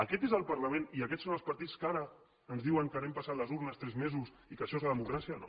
aquest és el parlament i aquests són els partits que ara ens diuen que anem passant les urnes tres mesos i que això és la democràcia no